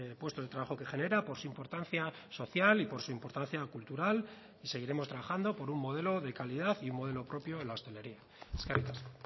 puestos de trabajo que genera por su importancia social y por su importancia cultural y seguiremos trabajando por un modelo de calidad y un modelo propio en la hostelería eskerrik asko